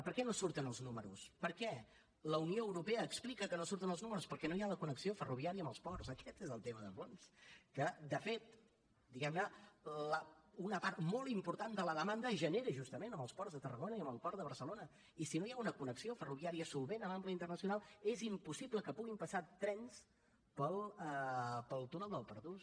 per què no surten els números per què la unió europea explica que no surten els números perquè no hi ha la connexió ferroviària amb els ports aquest és el tema de fons que de fet diguem ne una part molt important de la demanda es genera justament en els ports de tarragona i en el port de barcelona i si no hi ha una connexió ferroviària solvent amb ample internacional és impossible que puguin passar trens pel túnel del pertús